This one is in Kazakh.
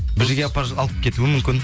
бір жерге алып кетуі мүмкін